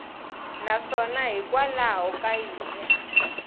naswona hikwalaho ka yini a